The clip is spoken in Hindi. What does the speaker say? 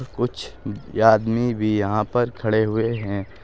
कुछ आदमी भी यहां पर खड़े हुए हैं।